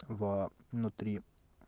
во внутри